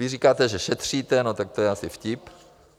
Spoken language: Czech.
Vy říkáte, že šetříte, no tak to je asi vtip.